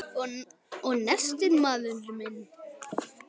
Og nestið, maður minn!